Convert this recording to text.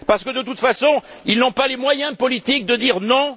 Parce que de toute façon, ils n'ont pas les moyens politiques de dire non?